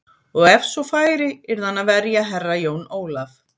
Og ef svo færi yrði hann að verja Herra Jón Ólaf.